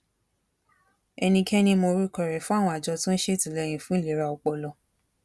ẹnikẹni mọ orúkọ rẹ fún àwọn àjọ tó ń ṣètìlẹyìn fún ìlera ọpọlọ